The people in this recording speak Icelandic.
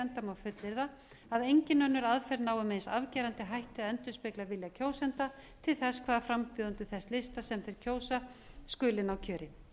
enda má fullyrða að engin önnur aðferð nái með eins afgerandi hætti að endurspegla vilja kjósenda til þess hvaða frambjóðendur þess lista sem þeir kjósa skuli ná kjöri